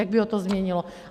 Jak by ho to změnilo?